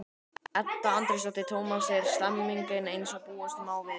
Edda Andrésdóttir: Tómas, er stemningin eins og búast má við?